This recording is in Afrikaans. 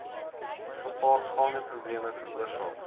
gepaardgaande probleme veroorsaak